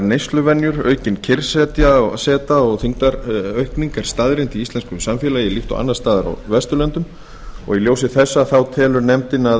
neysluvenjur aukin kyrrseta og þyngdaraukning er staðreynd í íslensku samfélagi líkt og annars staðar á vesturlöndum í ljósi þessa telur nefndin að